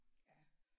Ja